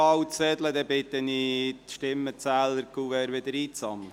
dann fahren wir weiter mit der Traktandenliste.